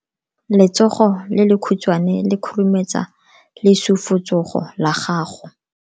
Letsogo le lekhutshwane le khurumetsa lesufutsogo la gago.